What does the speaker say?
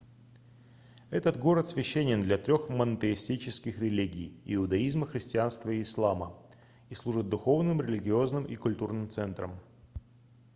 этот город священен для трёх монотеистических религий иудаизма христианства и ислама и служит духовным религиозным и культурным центром